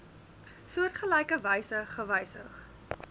soortgelyke wyse gewysig